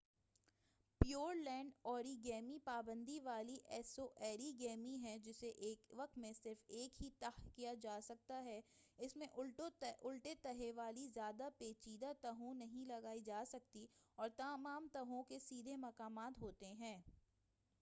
pure land اوری گیمی پابندی والی ایسی اوری گیمی ہے جسے ایک وقت میں صرف ایک ہی تہہ کیا جا سکتا ہے اس میں الٹے تہوں والی زیادہ پیچیدہ تہوں نہیں لگائی جاسکتی اور تمام تہوں کے سیدھے مقامات ہوتے ہیں